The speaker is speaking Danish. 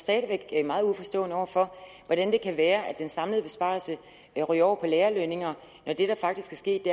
stadig væk meget uforstående over hvordan det kan være at den samlede besparelse ryger over på lærerlønninger når der faktisk er sket